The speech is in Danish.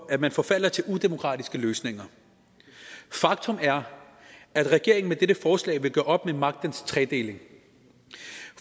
at man forfalder til udemokratiske løsninger faktum er at regeringen med dette forslag vil gøre op med magtens tredeling